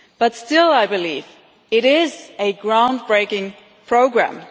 But still I believe it is a ground breaking programme.